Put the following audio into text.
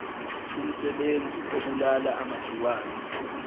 umsebenzi obulala amagciwane